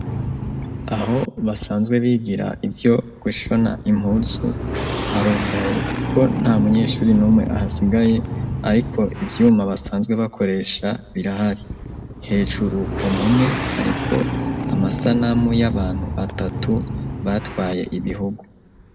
Aho basanzwe bigira ivyo gushona impuzu, harugaye, kuko nta munyeshuri n'umwe ahasigaye; ariko ivyuma basanzwe bakoresha birahari; hejuru ku mpome, hariko amasanamu y'abantu atatu, batwaye ibihugu.